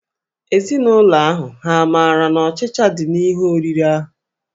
Ezinụlọ ahụ hà maara na ọchịcha dị n'ihe oriri ahụ?